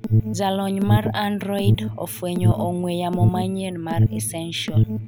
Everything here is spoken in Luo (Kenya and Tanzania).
Jalony mar Android ofwenyo ong'we yamo manyien mar ESsential